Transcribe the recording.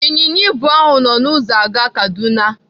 Ịnyịnya ibu ahụ nọ n'ụzọ aga Kaduna.